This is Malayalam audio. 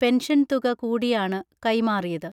പെൻഷൻതുക കൂടിയാണു കൈമാറിയത്